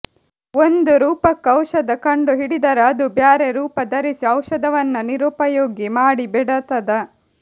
ಒಂದು ರೂಪಕ್ಕ ಔಷಧ ಕಂಡು ಹಿಡದರ ಅದು ಬ್ಯಾರೆ ರೂಪ ಧರಿಸಿ ಔಷಧವನ್ನ ನಿರುಪಯೋಗಿ ಮಾಡಿ ಬಿಡತದ